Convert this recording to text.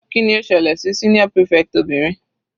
Kíni ó ṣẹlẹ̀ sí senior prefect obìnrin?